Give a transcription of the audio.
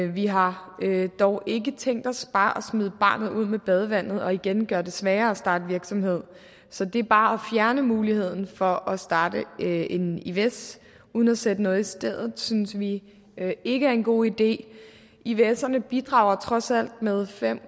vi har dog ikke tænkt os bare at smide barnet ud med badevandet og igen gøre det sværere at starte virksomhed så det bare at fjerne muligheden for at starte en ivs uden at sætte noget i stedet synes vi ikke er en god idé ivserne bidrager trods alt med fem